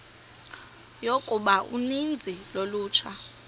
yokuba uninzi lolutsha